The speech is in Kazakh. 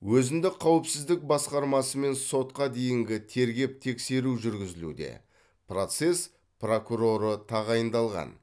өзіндік қауіпсіздік басқармасымен сотқа дейінгі тергеп тексеру жүргізілуде процесс прокуроры тағайындалған